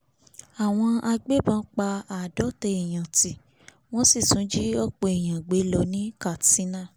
àwọn agbébọn pa àádọ́ta èèyànǹtì wọ́n sì tún jí ọ̀pọ̀ èèyàn gbé lọ ní katsina